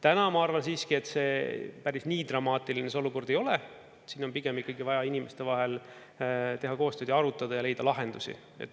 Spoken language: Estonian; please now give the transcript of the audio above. Täna ma arvan siiski, et päris nii dramaatiline see olukord ei ole, siin on pigem ikkagi vaja inimeste vahel teha koostööd ja arutada ja leida lahendusi.